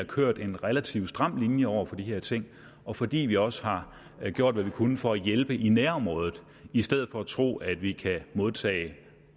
kørte en relativt stram linje over for de her ting og fordi vi også har gjort hvad vi kunne for at hjælpe i nærområdet i stedet for at tro at vi kan modtage